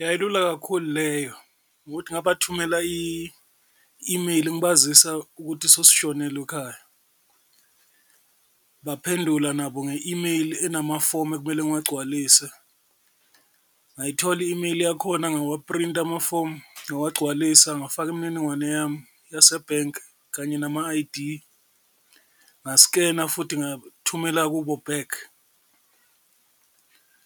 Yayilula kakhulu leyo, ngokuthi ngabathumela i-imeyili ngibazisa ukuthi sosishonelwe ekhaya baphendula nabo nge-imeyili enamafomu ekumele ngiwagcwalise, ngayithola i-imeyili yakhona ngawaphrinta amafomu ngawagcwalisa, ngafaka imininingwane yami yasebhenki kanye nama-I_D, ngasikena futhi ngathumela kubo back.